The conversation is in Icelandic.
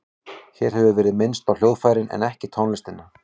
Hér hefur verið minnst á hljóðfærin en ekki tónlistina.